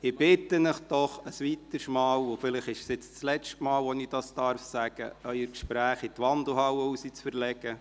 Ich bitte Sie doch ein weiteres Mal – und vielleicht ist es nun das letzte Mal, dass ich das sagen darf –, Ihre Gespräche in die Wandelhalle zu verlegen.